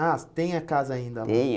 Ah, tem a casa ainda lá? Tem a